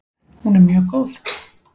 Hún er mjög góð!